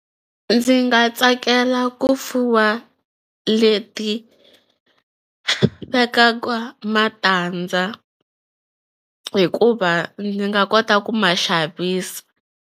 Ndzi nga tsakela ku fuwa leti vekaka matandza hikuva ndzi nga kota ku ma xavisa.